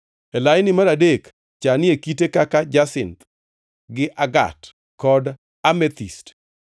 e laini mar adek chanie kite kaka jasinth gi agat kod amethist;